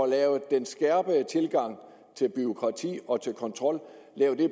lave den skærpede tilgang til bureaukrati og til kontrol og